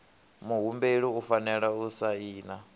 muhumbeli u fanela u saina